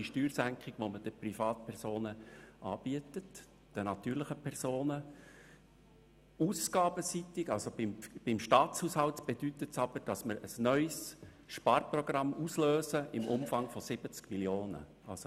Ausgabenseitig, also für den Staatshaushalt, bedeutet es aber, dass wir ein neues Sparprogramm im Umfang von 70 Mio. Franken auslösen.